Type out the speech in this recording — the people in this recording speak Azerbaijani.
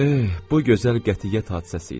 Eh, bu gözəl qətiyyət hadisəsi idi.